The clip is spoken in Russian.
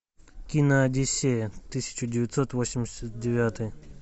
кино одиссея тысяча девятьсот восемьдесят девятый